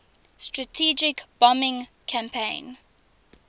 strategic bombing campaign